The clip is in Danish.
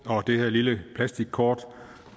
og det her lille plastikkort